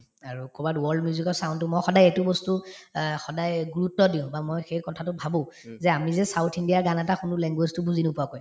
আৰু কৰবাত world music ৰ sound তো মই সদায় এইটো বস্তু অ সদায়ে গুৰুত্ব দিওঁ বা মই সেই কথাটো ভাবো যে আমি যে south india ৰ গান এটা শুনো language তো বুজি নোপোৱাকৈ